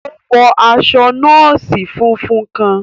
O wọ aṣọ nọọsi fúnfún kàn.